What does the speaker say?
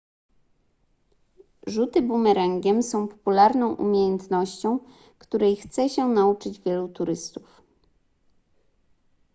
rzuty bumerangiem są popularną umiejętnością której chce się nauczyć wielu turystów